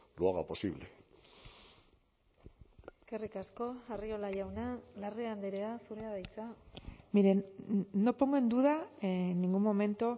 lo haga posible eskerrik asko arriola jauna larrea andrea zurea da hitza miren no pongo en duda en ningún momento